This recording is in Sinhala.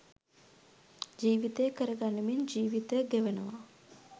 ජීවිතය කර ගනිමින් ජීවිතය ගෙවනවා.